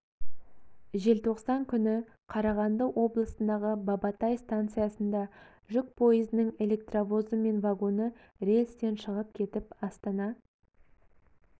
желтоқсан күні қарағанды облысындағы бабатай станциясында жүк пойызының электровозы мен вагоны рельстен шығып кетіп астана